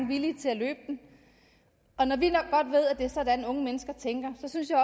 villige til at løbe den og når vi ved at det er sådan unge mennesker tænker så synes jeg